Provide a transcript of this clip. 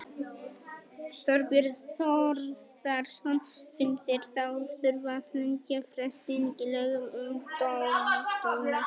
Þorbjörn Þórðarson: Finnst þér þá þurfa að lengja frestinn í lögum um dómstóla?